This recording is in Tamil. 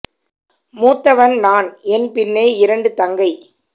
மூத்தவன்நான் என்பின்னே இரண்டு தங்கை